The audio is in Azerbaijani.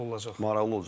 Maraqlı olacaq.